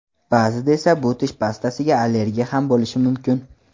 Ba’zida esa bu tish pastasiga allergiya ham bo‘lishi mumkin.